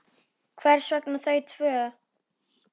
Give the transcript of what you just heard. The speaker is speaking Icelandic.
Hvers vegna þau tvö?